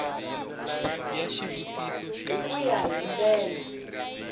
hi ku ya hi ndlela